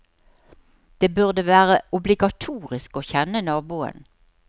Det burde være obligatorisk å kjenne naboen.